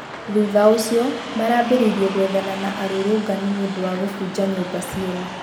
thutha ũcio marambirĩirĩe gwethana na arũrũngani nĩũndũ wa kũbũnja nyũmba cĩene